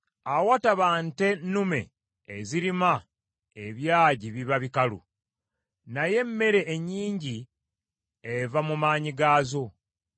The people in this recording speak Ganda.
Awataba nte nnume ezirima ebyagi biba bikalu, naye emmere ennyingi eva mu maanyi gaazo.